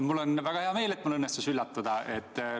Mul on väga hea meel, et mul õnnestus üllatada.